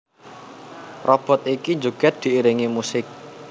Robot iki njogèd diiringi musik